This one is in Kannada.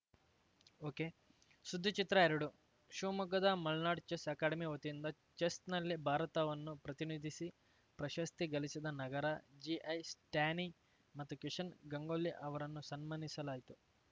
ಒಕೆಸುದ್ದಿಚಿತ್ರಎರಡು ಶಿವಮೊಗ್ಗದ ಮಲ್ನಾಡ್‌ ಚೆಸ್‌ ಅಕಾಡೆಮಿ ವತಿಯಿಂದ ಚೆಸ್‌ನಲ್ಲಿ ಭಾರತವನ್ನು ಪ್ರತಿನಿಧಿಸಿ ಪ್ರಶಸ್ತಿ ಗಳಿಸಿದ ನಗರ ಜಿಐ ಸ್ಟ್ಯಾನಿ ಮತ್ತು ಕಿಶನ್‌ ಗಂಗೊಳ್ಳಿ ಅವರನ್ನು ಸನ್ಮಾನಿಸಲಾಯಿತು